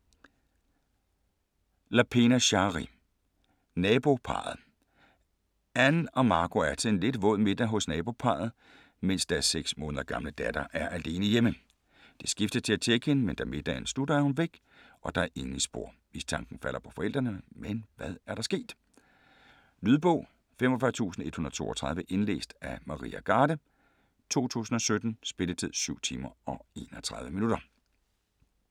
Lapena, Shari: Naboparret Anne og Marco er til en lidt våd middag hos naboparret, mens deres seks måneder gamle datter er alene hjemme. De skiftes til at tjekke hende, men da middagen slutter, er hun væk, og der er ingen spor. Mistanken falder på forældrene, men hvad er der sket? Lydbog 45132 Indlæst af Maria Garde, 2017. Spilletid: 7 timer, 31 minutter.